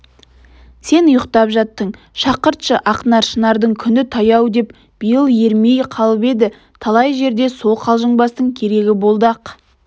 сен ұйықтап жаттың шақыртшы ақнар шынардың күні таяу деп биыл ермей қалып еді талай жерде сол қалжыңбастың керегі болды-ақ